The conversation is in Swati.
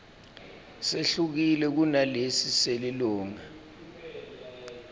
sehlukile kunalesi selilunga